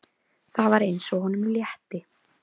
Það var eins og honum létti.